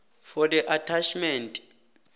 for the attachment